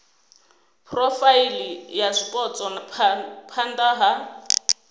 phurofaili ya zwipotso phana ha